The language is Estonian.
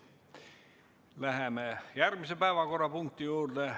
Läheme järgmise päevakorrapunkti juurde.